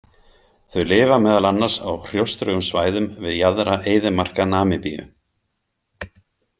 Þau lifa meðal annars á hrjóstrugum svæðum við jaðra eyðimarka Namibíu.